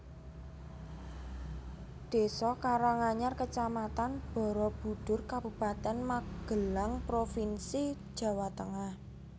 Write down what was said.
Désa Karanganyar Kecamatan Barabudhur Kabupaten Magelang provinsi Jawa Tengah